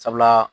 Sabula